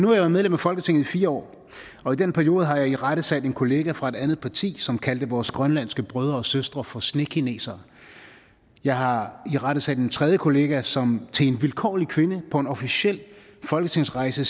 været medlem af folketinget i fire år og i den periode har jeg irettesat en kollega fra et andet parti som kaldte vores grønlandske brødre og søstre for snekinesere jeg har irettesat en tredje kollega som til en vilkårlig kvinde på en officiel folketingsrejse